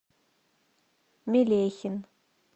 мелехин